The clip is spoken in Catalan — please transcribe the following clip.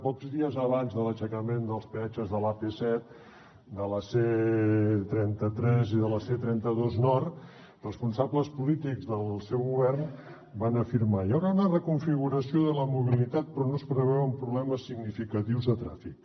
pocs dies abans de l’aixecament dels peatges de l’ap set de la c trenta tres i de la c trenta dos nord responsables polítics del seu govern van afirmar hi haurà una reconfiguració de la mobilitat però no es preveuen problemes significatius de trànsit